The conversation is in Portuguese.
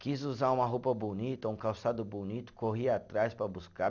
Quis usar uma roupa bonita, um calçado bonito, corri atrás para buscar.